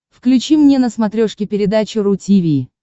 включи мне на смотрешке передачу ру ти ви